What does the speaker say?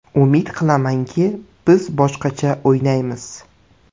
Umid qilamanki, biz boshqacha o‘ynaymiz.